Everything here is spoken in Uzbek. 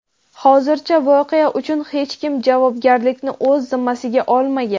Hozircha voqea uchun hech kim javobgarlikni o‘z zimmasiga olmagan.